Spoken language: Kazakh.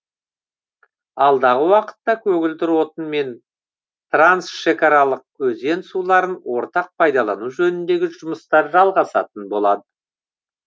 алдағы уақытта көгілдір отын мен трансшекараларық өзен суларын ортақ пайдалану жөніндегі жұмыстар жалғасатын болды